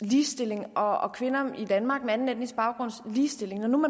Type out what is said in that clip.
ligestilling og kvinder i danmark med anden etnisk baggrunds ligestilling og når